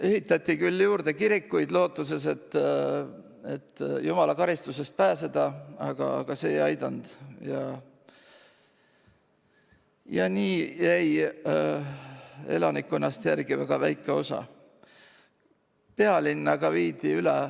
Ehitati juurde kirikuid lootuses, et sedasi saab jumala karistusest pääseda, aga see ei aidanud, ja nii jäi elanikkonnast järele väga väike osa.